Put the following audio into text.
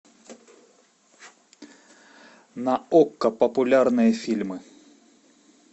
на окко популярные фильмы